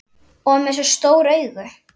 Og með svona stór augu.